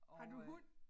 Har du hund?